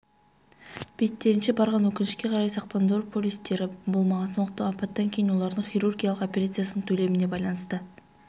беттерінше барған өкінішке қарай сақтандыру полистері болмаған сондықтан апаттан кейін олардың хирургиялық операциясының төлеміне байланысты